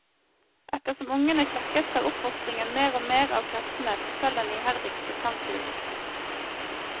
Etter som ungene klekkes tar oppfostringen mer og mer av kreftene fra selv den iherdigste sangfugl.